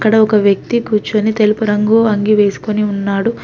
ఆడ వ్యక్తి కూర్చొని తెలుపు రంగు అంగి వేసుకొని ఉన్నాడు.